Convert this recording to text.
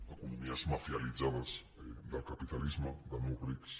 economies mafialitzades del capitalisme de nous rics